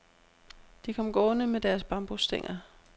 De kom gående med deres bambusstænger.